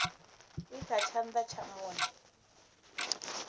i kha tshana tsha monde